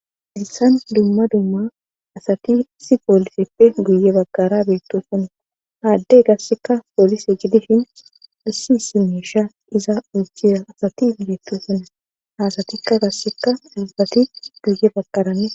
Halissan dumma dumma asati si pooliseppe guye bagqara beetto sunna aaddey gasseka poolise jidishin assisimesha iza uychira asati beetto sune haasatikka gasseka dulbati guye bagqarane.